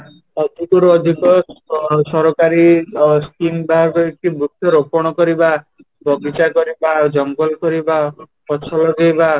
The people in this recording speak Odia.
ଅଧିକରୁ ଅଧିକ ସରକାରୀ Scheme ବାହାର କରିଛି ଅ ବୃକ୍ଷ ରୋପଣ କରିବା, ବଗିଚା କରିବା ଆଉ ଜଙ୍ଗଲ କରିବା, ଗଛ ଲଗେଇବା